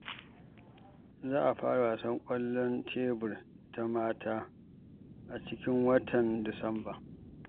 Za a fara gasar ƙwallon tebur ta mata a cikin watan Disamba